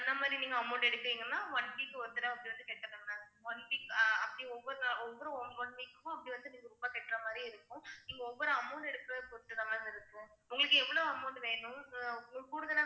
அந்த மாதிரி நீங்க amount எடுத்தீங்கன்னா one week ஒரு தடவை அப்படி வந்து கட்டணும் ma'am one week ஆ அப்படி ஒவ்வொரு தடவை ஒவ்வொரு one one week க்கும் அப்படி வந்து நீங்க ரொம்ப கட்ற மாதிரி இருக்கும் நீங்க ஒவ்வொரு amount எடுக்கிறதை பொறுத்துதான் ma'am இருக்கும் உங்களுக்கு எவ்வளவு amount வேணும் உங்களுக்கு கூடுதலா